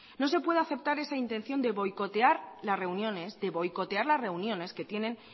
no se puede aceptar esa intención de boicotear las reuniones tienen